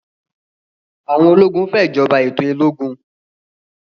àwọn ológun fè ìjọba ètò ológun